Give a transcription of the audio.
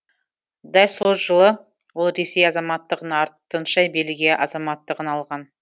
дәл сол жылы ол ресей азаматтығын артынша белгия азаматтығын алған